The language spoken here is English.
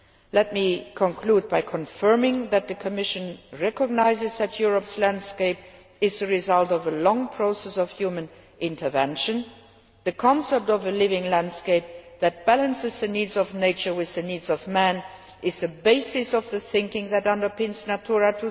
Let me conclude by confirming that the Commission recognises that Europe's landscape is the result of a long process of human intervention. The concept of a living landscape that balances the needs of nature with the needs of man is the basis of the thinking that underpins Natura